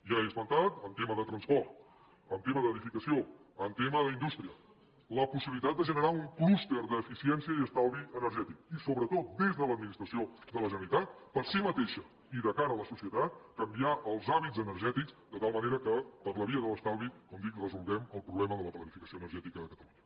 ja he esmentat en tema de transport en tema d’edificació en tema d’indústria la possibilitat de generar un clúster d’eficiència i estalvi energètic i sobretot des de l’administració de la generalitat per ella mateixa i de cara a la societat canviar els hàbits energètics de tal manera que per la via de l’estalvi com dic resolguem el problema de la planificació energètica a catalunya